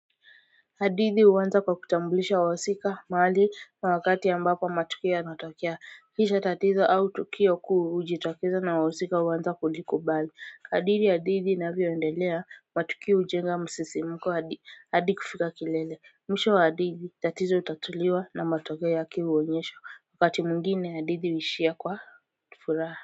Hadithi huanza kwa kutambulisha wahusika, mahali na wakati ambapo matukio yanatokea. Kisha tatizo au tukio kuu hujitokeza na wahusika huanza kulikubali. Kadri hadithi inavyoendelea, matukio hujenga msisimko hadi, hadi kufika kilele. Mwisho wa hadithi, tatizo hutatuliwa na matokeo yake huonyeshwa. Wakati mwingine hadithi huishia kwa furaha.